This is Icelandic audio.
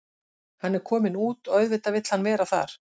Hann er kominn út og auðvitað vill hann vera þar.